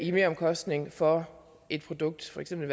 i meromkostning for et produkt for eksempel